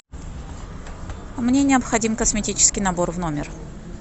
мне необходим косметический набор в номер